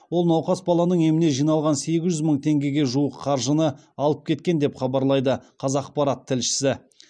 ол науқас баланың еміне жиналған сегіз жүз мың теңгеге жуық қаржыны алып кеткен деп хабарлайды қазақпарат тілшісі